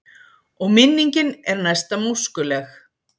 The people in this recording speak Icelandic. Og minningin er næsta móskuleg.